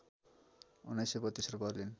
१९३२ र बर्लिन